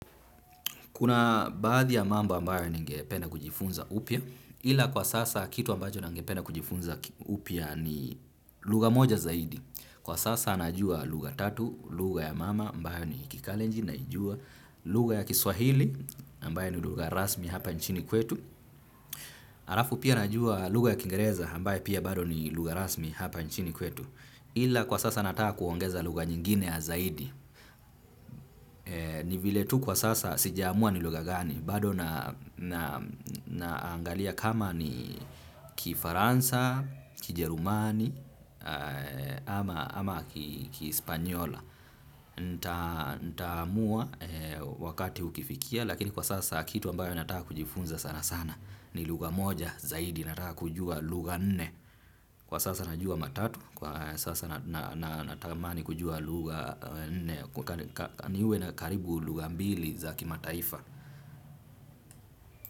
Kuna baadhi ya mambo ambayo ningependa kujifunza upya, ila kwa sasa kitu ambacho nangependa kujifunza upya ni lugha moja zaidi. Kwa sasa najua lugha tatu, lugha ya mama ambayo ni kikalenjin, naijua lugha ya kiswahili ambayo ni lugha rasmi hapa nchini kwetu. Arafu pia najua lugha ya kiingereza ambayo pia bado ni lugha rasmi hapa nchini kwetu. Ila kwa sasa nataka kuongeza lugha nyingine ya zaidi. Ni vile tu kwa sasa sijaamua ni lugha gani. Bado naangalia kama ni kifaransa, kijerumani ama kispanyola. Ntamua wakati ukifikia lakini kwa sasa kitu ambayo nataka kujifunza sana sana. Ni lugha moja zaidi nataka kujua lugha nne. Kwa sasa najua matatu. Kwa sasa natamani kujua lugha nne niwe na karibu lugha mbili za kimataifa.